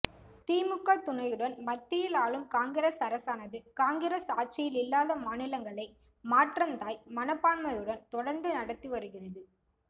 திமுக துணையுடன் மத்தியில் ஆளும் காங்கிரஸ் அரசானது காங்கிரஸ் ஆட்சியில் இல்லாத மாநிலங்களை மாற்றந்தாய் மனப்பான்மையுடன் தொடர்ந்து நடத்தி வருகிறது